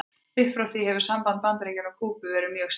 Upp frá því hefur samband Bandaríkjanna og Kúbu verið mjög stirt.